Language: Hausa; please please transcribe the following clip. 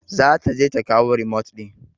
Za ta je ta kawo remote ɗin.